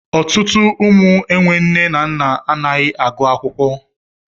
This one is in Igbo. Ọtụtụ ụmụ enwe nne na nna anaghị agụ akwụkwọ.